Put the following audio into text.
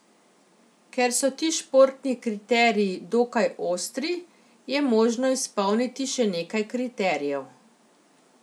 Ker so ti športni kriteriji dokaj ostri, je možno izpolniti še nekaj kriterijev.